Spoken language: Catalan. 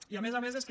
i a més a més és que